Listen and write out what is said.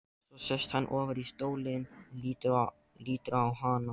Svo sest hann ofar í stólinn og lítur á hana.